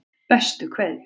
Bestu kveðjur